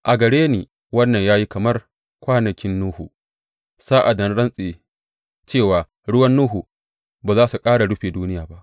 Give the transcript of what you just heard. A gare ni wannan ya yi kamar kwanakin Nuhu, sa’ad da na rantse cewa ruwan Nuhu ba za su ƙara rufe duniya ba.